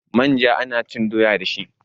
manja ana cin doya dashi